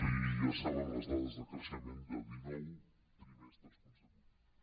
i ja saben les dades de creixement de dinou trimestres consecutius